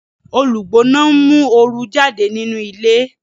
Olugbona nmu ooru jáde nínú ilé